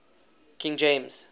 king james